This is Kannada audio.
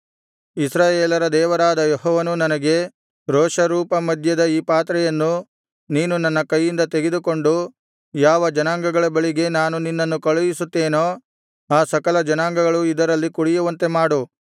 ಇಸ್ರಾಯೇಲರ ದೇವರಾದ ಯೆಹೋವನು ನನಗೆ ರೋಷರೂಪ ಮದ್ಯದ ಈ ಪಾತ್ರೆಯನ್ನು ನೀನು ನನ್ನ ಕೈಯಿಂದ ತೆಗೆದುಕೊಂಡು ಯಾವ ಜನಾಂಗಗಳ ಬಳಿಗೆ ನಾನು ನಿನ್ನನ್ನು ಕಳುಹಿಸುತ್ತೇನೋ ಆ ಸಕಲ ಜನಾಂಗಗಳು ಇದರಲ್ಲಿ ಕುಡಿಯುವಂತೆ ಮಾಡು